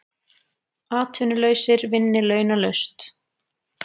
Atvinnulausir vinni launalaust